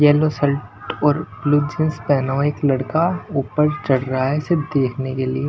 Yellow shirt ओर blue jeans पहनना एक लड़का ऊपर चढ़ रहा है इसे देखने के लिए।